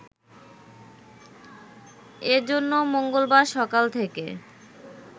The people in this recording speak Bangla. এ জন্য মঙ্গলবার সকাল থেকে